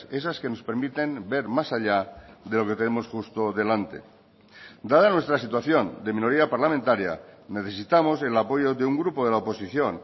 esas que nos permiten ver más allá de lo que tenemos justo delante dada nuestra situación de minoría parlamentaria necesitamos el apoyo de un grupo de la oposición